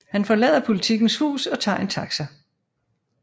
Han forlader Politikens hus og tager en taxa